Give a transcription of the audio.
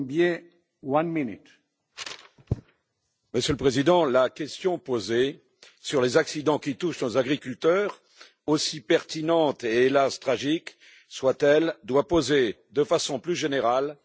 Monsieur le Président, la question posée sur les accidents qui touchent nos agriculteurs, aussi pertinente et hélas tragique soit elle, doit poser de façon plus générale les responsabilités accablantes de la Commission.